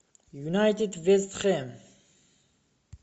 юнайтед вест хэм